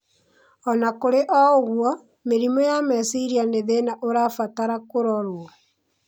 O na kũrĩ ũguo, mĩrimũ ya meciria nĩ thina ũrabatara kũrorwo.